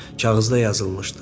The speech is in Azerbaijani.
Kağızda yazılmışdı.